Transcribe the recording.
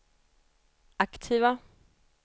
aktiva